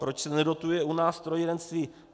Proč se nedotuje u nás strojírenství.